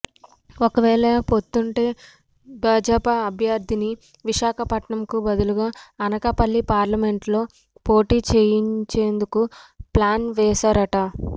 ఒకవేళ పొత్తుంటే భాజపా అభ్యర్ధిని విశాఖపట్నంకు బదులుగా అనకాపల్లి పార్లమెంటులో పోటీ చేయించేందుకు ప్లాన్ వేసారట